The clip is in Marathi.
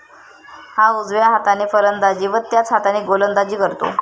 हा उजव्या हाताने फलंदाजी व त्याच हाताने गोलंदाजी करतो.